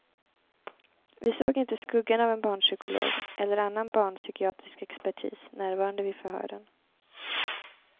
Vi såg inte skuggan av en barnpsykolog eller annan barnpsykiatrisk expertis närvarande vid förhören.